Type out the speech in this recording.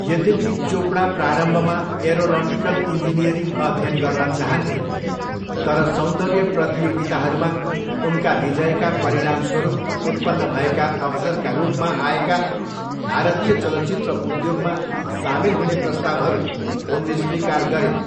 यद्यपि चोपडा प्रारम्भमा aeronautical engineering अध्ययन गर्न चाहन्थिन्, तर सौन्दर्य प्रतियोगिताहरूमा उनका विजयका परिणामस्वरूप उत्पन्न भएका अवसरका रूपमा आएका भारतीय चलचित्र उद्योगमा सामेल हुने प्रस्तावहरू उनले स्वीकार गरिन्।